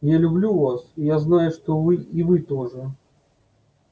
я люблю вас и я знаю что вы и вы тоже